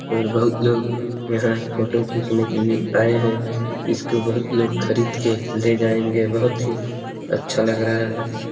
और बहुत लोग यहाँ फ़ोटो खीचने के लिए आए हैं इसको बहुत लोग खरीद के ले जांएगे बहुत ही अच्छा लग रहा है ।